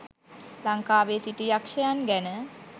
ලංකාවේ සිටි යක්ෂයන් ගැන